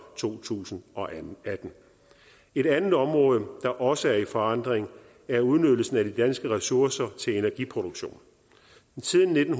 to tusind og atten et andet område der også er i forandring er udnyttelsen af de danske ressourcer til energiproduktion siden nitten